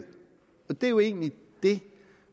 det er jo egentlig det